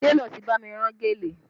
Télọ̀ ti bá mi rán gèlè